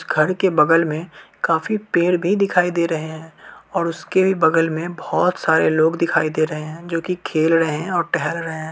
घर के बगल मे काफी पेड़ भी दिखाई दे रहे और उस के भी बगल मे बोहोत सारे लोग दिखाई दे रहे है जो कि खेल रहे है और टहल रहे हैं।